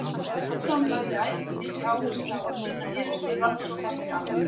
Sveinsson lagði ætíð mikla áherslu á að kynna niðurstöður rannsókna fyrir almenningi.